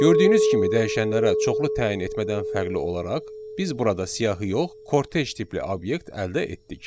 Gördüyünüz kimi dəyişənlərə çoxlu təyin etmədən fərqli olaraq, biz burada siyahı yox, kortej tipli obyekt əldə etdik.